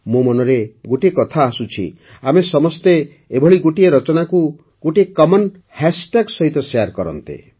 ମୋ ମନରେ ଗୋଟିଏ କଥା ଆସୁଛି ଆମେ ସମସ୍ତେ ଏଭଳି ସମସ୍ତ ରଚନାକୁ ଗୋଟିଏ କମନ୍ ହାଷ୍ଟାଗ୍ ସହିତ ଶେୟାର କରନ୍ତେ